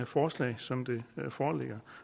forslaget som det foreligger